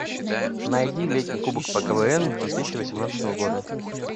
найди летний кубок по квн две тысячи восемнадцатого года